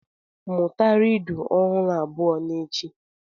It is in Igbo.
Mụta rịdụ ọhụrụ abụọ n'echi.